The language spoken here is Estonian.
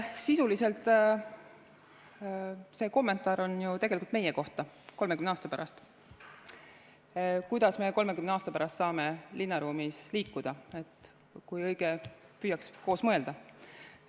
Sisuliselt on see kommentaar ju tegelikult meie kohta 30 aasta pärast, kuidas me 30 aasta pärast saame linnaruumis liikuda, et kui õige püüaks koos mõelda.